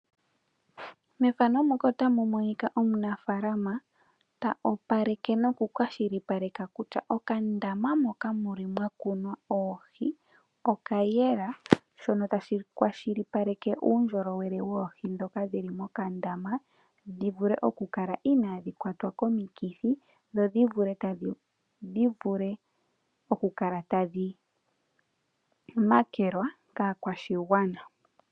Omunafalama ota opaleke noku kwashilipaleka kutya okandama moka muli mwa kunwa oohi oka yela shono tashi kwashilipaleka uundjolowele woohi dhoka dhili mokandama dhivule oku kala inadhi kwatwa komukithi dhodhi vule oku kala tadhi makelwa kakwashigwana.